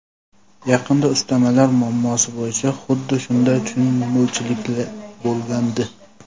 Yaqinda ustamalar muammosi bo‘yicha xuddi shunday tushunmovchilik bo‘lgandi.